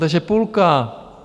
Takže půlka!